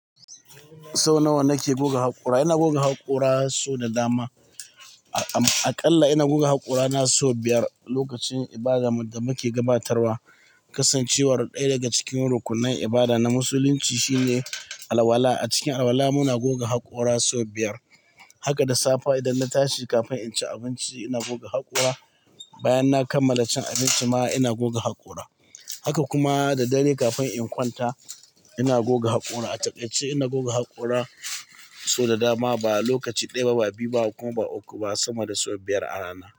Sau nawa nake goga haƙora? Ina goga haƙora sau da dama. Aƙalla ina goga haƙora na sau biyar lokacin ibadarmu da muke gabatarwa. Kasancewar ɗaya daga cikin rukunnan ibada na musulunci shine alwala. A cikin alwala muna goga haƙora sau biyar. Haka da safe idan na tashi kafin in ci abinci ina goga haƙora. Bayan na kammala cin abinci ma ina goga haƙora. Haka kuma da dare kafin in kwanta ina goga haƙora. A takaice ina goga haƙora sau da dama. Ba lokaci ɗaya ba, ba biyu ba ko ba uku ba, sama da sau biyar a rana.